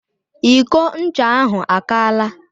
Iko ncha ahụ akaala.